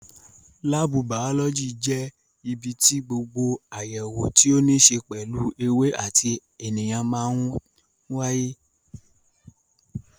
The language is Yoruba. Láábù bàọ́lọ́jì jẹ́ ibi tí gbogbo àyẹ̀wò tí ó ní ṣe pẹ̀lú ewé àti ènìyàn máa ń wáyé